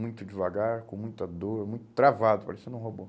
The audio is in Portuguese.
Muito devagar, com muita dor, muito travado, parecendo um robô.